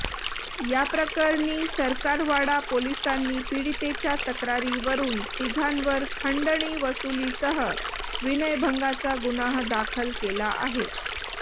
याप्रकरणी सरकारवाडा पोलिसांनी पीडितेच्या तक्रारीवरून तीघांवर खंडणी वसुलीसह विनयभंगाचा गुन्हा दाखल केला आहे